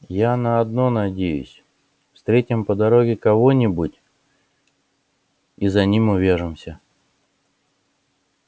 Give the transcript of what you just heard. я на одно надеюсь встретим по дороге кого-нибудь и за ним увяжемся